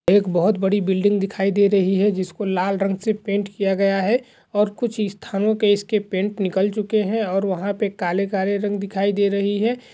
एक बहुत बड़ी बिल्डिंग दिखाई दे रही है जिसको लाल रंग से पेन्ट किया गया है । और कुछ स्थानों से इसके पेन्ट निकल चुके हैं और वहाँ पे काले-काले रंग दिखाई दे रही है ।